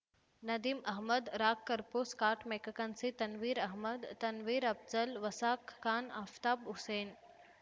Nadeem Ahmed Raag Kapur Scott McKechnie Tanveer Ahmed Tanveer Afzal Waqas Khan Aftab Hussain